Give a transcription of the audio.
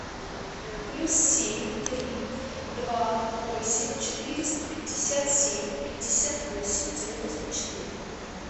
плюс семь три два восемь четыреста пятьдесят семь пятьдесят восемь девяносто четыре